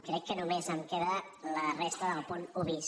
crec que només em queda la resta del punt un bis